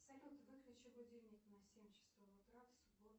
салют выключи будильник на семь часов утра в субботу